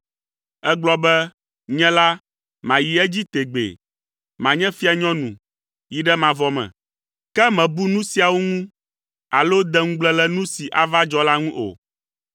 Ègblɔ be, ‘Nye la, mayi edzi tegbee. Manye fianyɔnu yi ɖe mavɔ me!’ Ke mèbu nu siawo ŋu alo de ŋugble le nu si ava dzɔ la ŋu o.